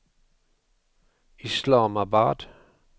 Islamabad